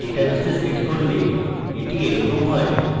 ডেটাবেসে set করলে এটি এরকম হয়